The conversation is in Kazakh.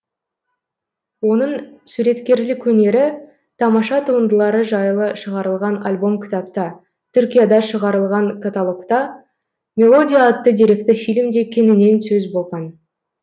оның суреткерлік өнері тамаша туындылары жайлы шығарылған альбом кітапта түркияда шығарылған каталогта мелодия атты деректі фильмде кеңінен сөз болған